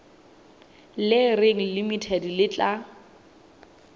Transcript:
le reng limited le tla